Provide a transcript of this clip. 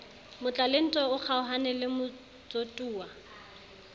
motlalentwa o kgaohane le motsotuwa